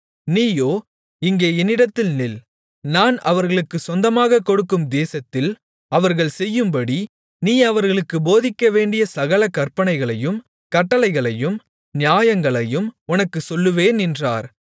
நீயோ இங்கே என்னிடத்தில் நில் நான் அவர்களுக்குச் சொந்தமாகக் கொடுக்கும் தேசத்தில் அவர்கள் செய்யும்படி நீ அவர்களுக்குப் போதிக்கவேண்டிய சகல கற்பனைகளையும் கட்டளைகளையும் நியாயங்களையும் உனக்குச் சொல்லுவேன் என்றார்